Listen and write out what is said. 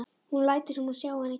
Hún lætur sem hún sjái hann ekki.